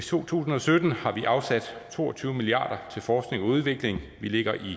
to tusind og sytten har vi afsat to og tyve milliard kroner til forskning og udvikling vi ligger i